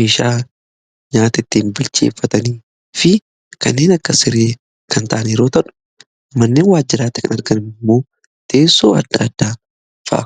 meeshaa nyaata ittiin bilcheeffatanii fi kanneen akka siree kan ta'an yeroo ta'u kanneen waajjiraatti kan argaman immoo teessoo adda addaa fa'a.